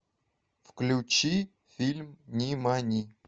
включи фильм нимани